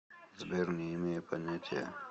сбер не имею понятия